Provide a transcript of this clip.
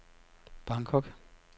Bangkok